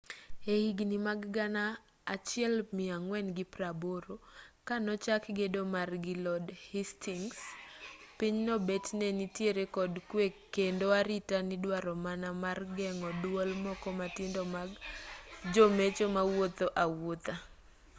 e higni mag 1480 ka nochak gedo mare gi lord hasytings pinyno bet ne nitiere kod kwe kendo arita nidwaro mana mar geng'o duol moko matindo mag jomecho mawuotho awuotha